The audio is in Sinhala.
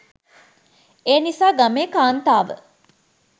එනිසා ගමේ කාන්තාව